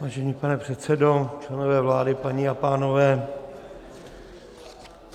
Vážený pane předsedo, členové vlády, paní a pánové.